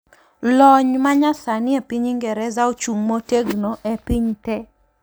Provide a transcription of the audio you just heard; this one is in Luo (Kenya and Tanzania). Lony manyasani epiny Ingereza ochung' motegno epiny tee.